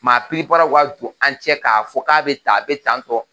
Maa piripara ka don an ni ɲɔgɔn k'a fɔ k'a bɛ tan a a bɛ tan tɔ.